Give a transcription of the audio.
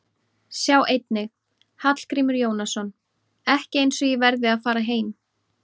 Sjá einnig: Hallgrímur Jónasson: Ekki eins og ég verði að fara heim